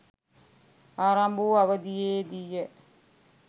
ආරම්භ වූ අවධියේදීය.